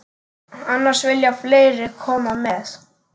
Annars vilja fleiri koma með.